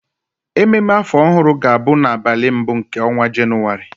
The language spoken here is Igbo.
Ememe afọ ọhụrụ ga-abụ n'abalị mbụ nke ọnwa Jenụwarị